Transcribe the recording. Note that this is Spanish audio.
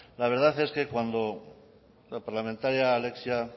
la verdad es que cuando la parlamentaria alexia